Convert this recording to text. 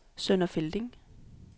Sønder Felding